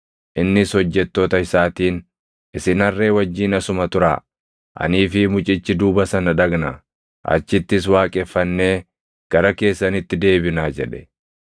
Innis hojjettoota isaatiin, “Isin harree wajjin asuma turaa. Anii fi mucichi duuba sana dhaqnaa; achittis waaqeffannee gara keessanitti deebinaa” jedhe.